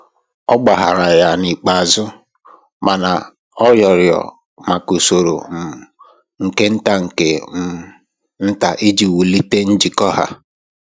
Ọ gbaghaara ya n'ikpeazụ, mana ọ rịọrọ maka usoro um nke nta nke um nta iji wulite njikọ ha.